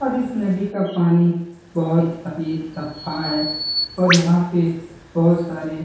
और इस नदी का पानी बहुत ही साफा है और यहां पे बहुत सारी --